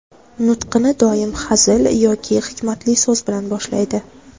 Nutqini doim hazil yoki hikmatli so‘z bilan boshlaydi.